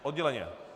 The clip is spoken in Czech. Odděleně?